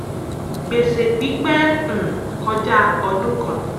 gbèsè pípẹ́ um kọjá ọdún kan.